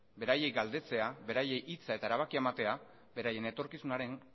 beraiei galdetzea beraien hitza eta erabakia ematea beraien etorkizunaren